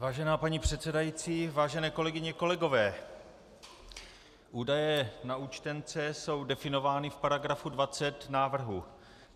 Vážená paní předsedající, vážené kolegyně, kolegové, údaje na účtence jsou definovány v paragrafu 20 návrhu.